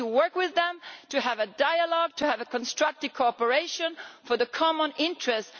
We need to work with them, to have a dialogue, to have a constructive cooperation for the common interest.